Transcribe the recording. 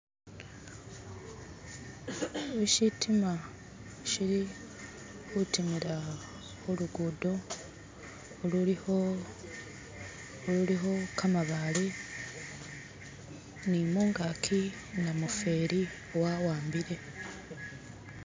Shino shitima shili kutimila kulugudo ululiko ululiko kamabaale nimungaji namufeli awambile